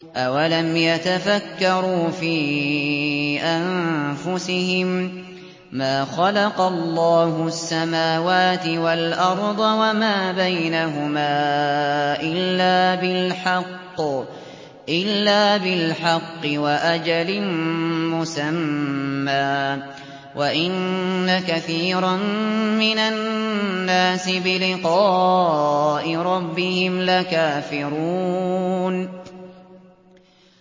أَوَلَمْ يَتَفَكَّرُوا فِي أَنفُسِهِم ۗ مَّا خَلَقَ اللَّهُ السَّمَاوَاتِ وَالْأَرْضَ وَمَا بَيْنَهُمَا إِلَّا بِالْحَقِّ وَأَجَلٍ مُّسَمًّى ۗ وَإِنَّ كَثِيرًا مِّنَ النَّاسِ بِلِقَاءِ رَبِّهِمْ لَكَافِرُونَ